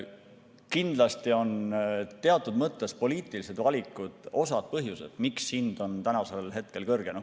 Kindlasti on teatud mõttes poliitilised valikud osa nendest põhjustest, miks hind on tänasel hetkel kõrge.